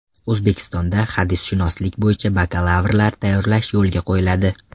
O‘zbekistonda hadisshunoslik bo‘yicha bakalavrlar tayyorlash yo‘lga qo‘yiladi.